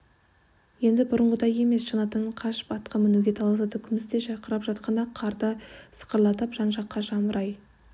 енді бұрынғыдай емес шанадан қашып атқа мінуге таласады күмістей жарқырап жатқан ақ қарды сықырлатып жан-жаққа жамырай